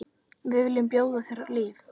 Við viljum bjóða þér líf.